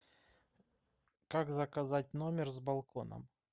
как заказать номер с балконом